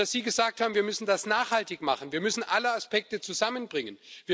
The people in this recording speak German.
Sie haben gesagt Wir müssen das nachhaltig machen, wir müssen alle Aspekte zusammenbringen.